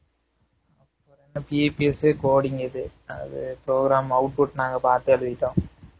EPS coding இது அது program output நாங்க பாத்து எழுதிடோம்